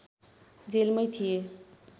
जेलमै थिए